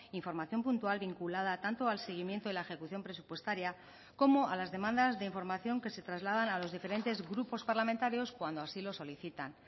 información puntual vinculada tanto al seguimiento y la ejecución presupuestaria como a las demandas de información que se trasladan a los diferentes grupos parlamentarios cuando así lo solicitan